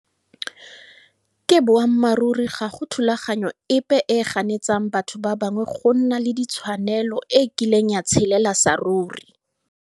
Ke boammaruri ga go thulaganyo epe e e ganetsang batho ba bangwe go nna le ditshwanelo e e kileng ya tshelela saruri.